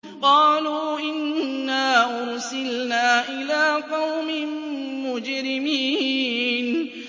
قَالُوا إِنَّا أُرْسِلْنَا إِلَىٰ قَوْمٍ مُّجْرِمِينَ